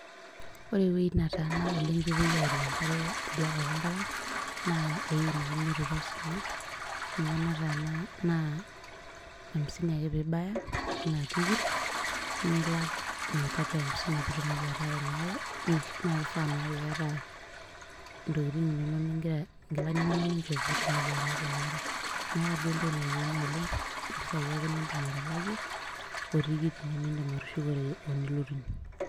Ore ewoi netaana oleng pepoi arie enkare tidiakop enkop ang',naa ewoi neji meru tosinya, ninye nataana naa aimisini ake pibaya enaa tikit, nilak mia tatu hamsini pitumoki ataara inaare, na kifaa naa piata intokiting inonok nigira inkilani nonok ninchop pitumoki atarie inaare. Meeta duo entoki nayieuni oleng, impisai ake nidim atalakie, otikit ino nidim atushukore onilotunye.